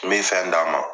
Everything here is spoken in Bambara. N bɛ fɛn d'a ma